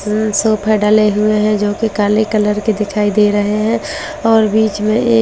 यहां सोफ़ा डले हुए हैं जो कि काले कलर के दिखाई दे रहे हैं और बीच में एक टेबल रखा --